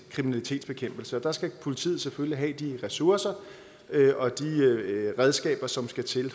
kriminalitetsbekæmpelse og der skal politiet selvfølgelig have de ressourcer og de redskaber som skal til i